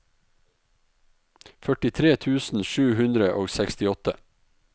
førtitre tusen sju hundre og sekstiåtte